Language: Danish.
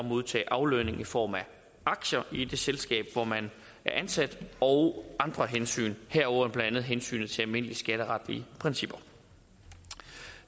modtage aflønning i form af aktier i det selskab hvor man er ansat og andre hensyn herunder blandt andet hensynet til almindelige skatteretlige principper